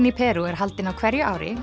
í Perú er haldinn á hverju ári